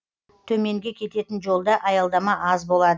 төменге кететін жолда аялдама аз болады